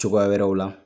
Cogoya wɛrɛw la